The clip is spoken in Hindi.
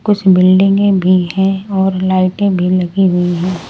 कुछ बिल्डिंगे भी हैं और लाइटें भी लगी हुई है।